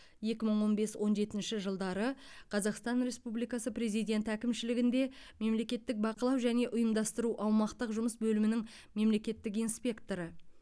екі мың он бес он жетінші жылдары қазақстан республикасы президенті әкімшілігінде мемлекеттік бақылау және ұйымдастыру аумақтық жұмыс бөлімінің мемлекеттік инспекторы